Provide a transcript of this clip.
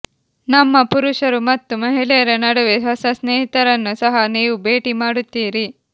ನಮ್ಮ ಪುರುಷರು ಮತ್ತು ಮಹಿಳೆಯರ ನಡುವೆ ಹೊಸ ಸ್ನೇಹಿತರನ್ನು ಸಹ ನೀವು ಭೇಟಿ ಮಾಡುತ್ತೀರಿ